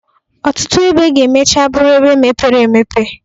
Ọtụtụ ebe ga-emecha bụrụ ebe mepere emepe.